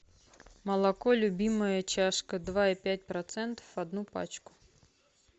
молоко любимая чашка два и пять процентов одну пачку